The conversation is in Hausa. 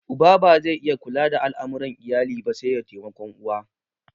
Uba ba zai iya kula da al'amuran iyali ba sai da taimakon uwa